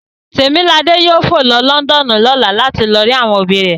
Temilade yoo fo lo si Lọndọnu lọla lati lo ri awọn obi rẹ